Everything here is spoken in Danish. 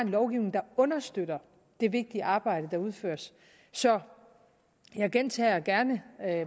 lovgivning kan understøtte det vigtige arbejde der udføres så jeg gentager gerne